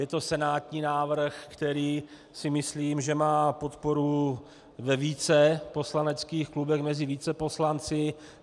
Je to senátní návrh, který si myslím, že má podporu ve více poslaneckých klubech mezi více poslanci.